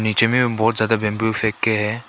बीच में बहुत ज्यादा बम्बू फेके है।